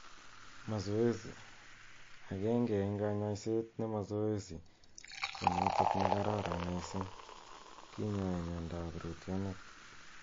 Mazoezi: agenge eng' �kanyaisetap ne mazoezi ko notok ne kararan missing' �kinyai miando ap rootyonet.